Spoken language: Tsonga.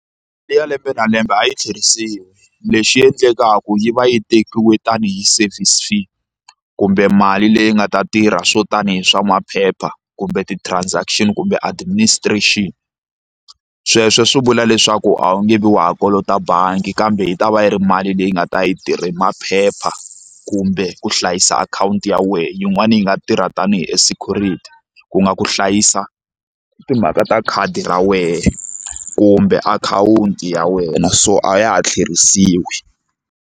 Leyi ya lembe na lembe a yi tlherisiwa lexi endlekaka yi va yi tekiwe tani hi service fee kumbe mali leyi nga ta tirha swo tani hi swa maphepha kumbe ti-transaction kumbe administration sweswo swi vula leswaku a wu nge vi wa ha kolota bangi kambe yi ta va yi ri mali leyi nga ta yi tirhe maphepha kumbe ku hlayisa akhawunti ya wena yin'wani yi nga tirha tanihi e security ku nga ku hlayisa timhaka ta khadi ra wena kumbe akhawunti ya wena so a ya ha tlhelerisiwi.